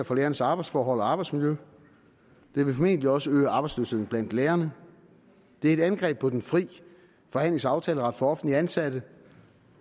for lærernes arbejdsforhold og arbejdsmiljø det vil formentlig også øge arbejdsløsheden blandt lærerne det er et angreb på den fri forhandlings og aftaleret for offentligt ansatte